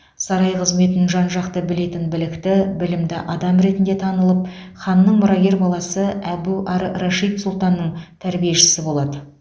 сарай қызметін жан жақты білетін білікті білімді адам ретінде танылып ханның мұрагер баласы әбу ар рашид сұлтанның тәрбиешісі болады